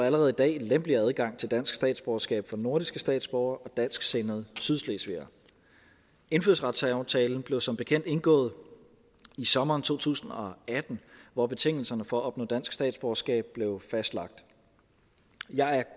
allerede i dag lempeligere adgang til dansk statsborgerskab for nordiske statsborgere og dansksindede sydslesvigere indfødsretsaftalen blev som bekendt indgået i sommeren to tusind og atten hvor betingelserne for at opnå dansk statsborgerskab blev fastlagt jeg er